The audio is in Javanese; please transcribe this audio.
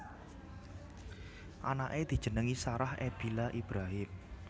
Anaké dijenengi Sarah Ebiela Ibrahim